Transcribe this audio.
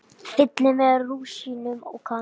Fyllið með rúsínum og kanil.